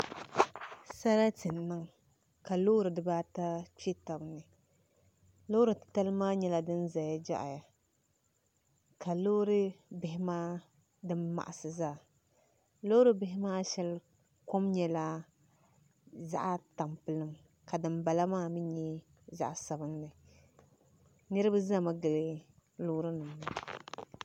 Sarati n niŋ ka loori dibata kpɛ tabi ni loori titali maa nyɛla din ʒɛya jaɣaya ka loori bihi maa din maɣasi zaa loori bihi maa shɛli kom nyɛla zaɣ tampilim ka dinbala maa mii nyɛ zaɣ sabinli niraba ʒɛmi gili loori nim maa